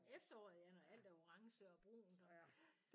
Om efteråret ja når alt er orange og brunt ja